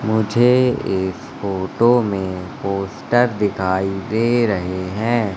मुझे इस फोटो में पोस्टर दिखाई दे रहे हैं।